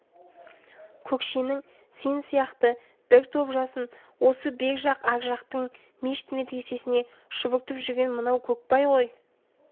көкшенің сен сияқты бір топ жасын осы бер жақ ар жақтың мешіт медресесіне шұбыртып жүрген мынау көкбай ғой